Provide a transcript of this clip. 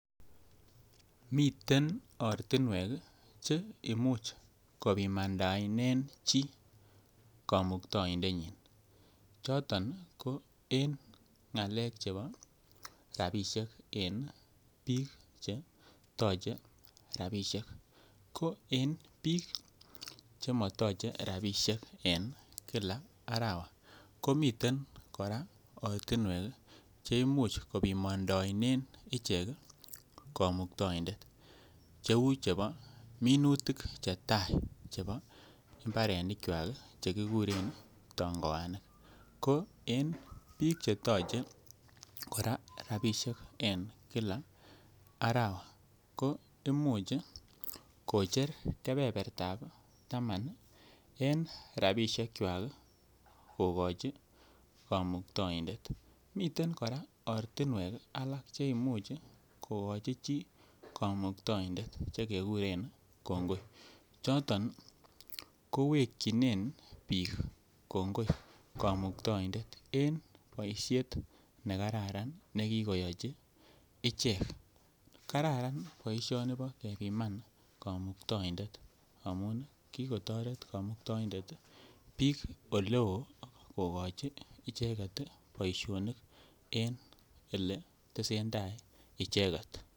miten ortinwek cheimuche kopimandaenen chi kamuktaindenyin choton ko eng ngalek chepo rabishek en biik chetoche rapishek ko en biik chemotoche rapinik en kila arawa komiten ortinwek cheimuch kopimamndaen ichek kamuktaindet cheu chepo minutik cheta che mbarenikwaki che kikuren tangoanik ko en biik chetoche kora rapishek en kila arawa komuch kocher kebebertab taman en rapishekiwak kokochi kamuktaoindet miten kora ortinwek alak cheimuch kokochi chi kamuktoindet che kikuren kongoi chotn kowekinen biik kongoi kamuktoindet en boishet ne kararan nekikoyochi ichek kararan boishoni bo en iman kamuktoindet amun kikotoret kamuktoindet biik ole oo kokochi icheket boishonik en ele tesentai icheket